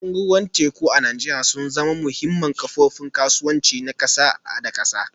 Tashoshin ruwan teku a Najeriya sun zama muhimman kofofin kasuwanci na kasa da kasa